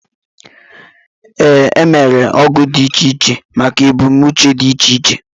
Ee, emere ogu dị iche iche maka ebumnuche dị iche iche